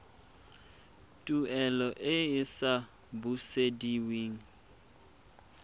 tuelo e e sa busediweng